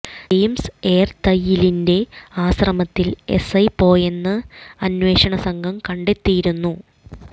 James ഏർത്തയിലിന്റെ ആശ്രമത്തിൽ SI പോയെന്ന് അന്വേഷണ സംഘം കണ്ടെത്തിയിരുന്നു